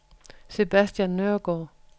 Sebastian Nørregaard